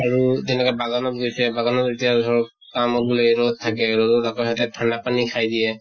আৰু তেনেকে বাগানত গৈছে, বাগানত এতিয়া ধৰক কামক বুলে ৰʼদ থাকে, ৰʼদত আকৌ সেহেতে ঠাণ্ডা পানী খাই দিয়ে